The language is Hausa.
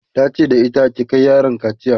tace da ita "ki Kai yaron kaciya!'